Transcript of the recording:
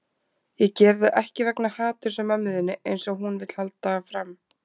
Ég geri það ekki vegna haturs á mömmu þinni, eins og hún vill halda fram.